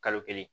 Kalo kelen